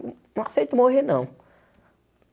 Nã não aceito morrer, não.